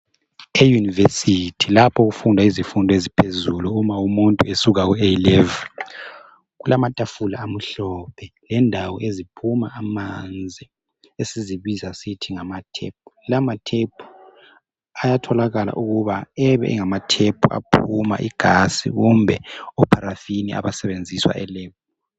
E-university, lapho okufundwa khona izifundo eziphezulu, uma umuntu esuka ku-A level. Kulamatafula amhlophe. Lendawo eziphuma amanzi. Esizibiza ngokuthi, amatap. Lawamatap ayatholakala ukuba abeyindawo, aphuma igas kumbe oparafina, abasebenziswa eLab.